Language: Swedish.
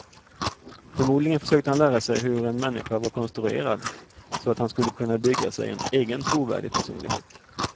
Förmodligen försökte han lära sig hur en människa var konstruerad, så att han skulle kunna bygga sig en egen trovärdig personlighet.